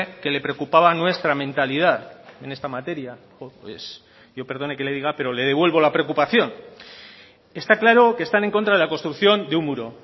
que le preocupaba nuestra mentalidad en esta materia pues yo perdone que le diga pero le devuelvo la preocupación está claro que están en contra de la construcción de un muro